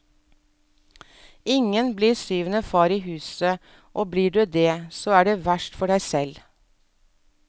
Ingen blir syvende far i huset, og blir du det, så er det verst for deg selv.